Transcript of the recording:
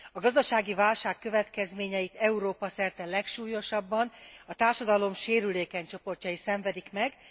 A gazdasági válság következményeit Európa szerte legsúlyosabban a társadalom sérülékeny csoportjai szenvedik meg.